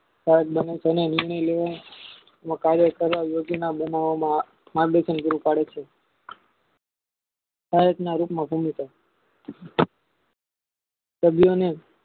કાર્ય કરવા યોગ્યમા બનાવામાં માર્ગદર્શન પૂરું પડે છે આ લોકમાં સંગઠન સભ્યોની